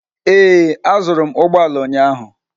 Ee, azụrụ m ụgbọ ala ụnyahụ.